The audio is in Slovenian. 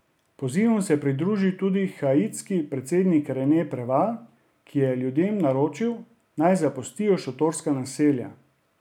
Pozivom se je pridružil tudi haitski predsednik Rene Preval, ki je ljudem naročil, naj zapustijo šotorska naselja.